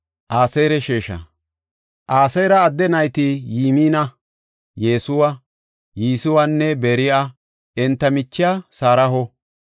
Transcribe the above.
Aseera adde nayti Yimina, Yesuwa, Yisiwanne Beri7a; enta michiya Saraho.